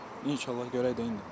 İnşallah görək də indi.